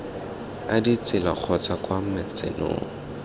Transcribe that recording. a ditsela kgotsa kwa matsenong